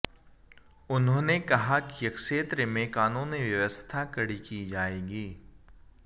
उन्होंने कहा कि क्षेत्र में कानून व्यवस्था कड़ी की जाएगी